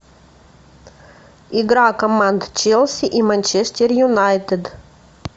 игра команд челси и манчестер юнайтед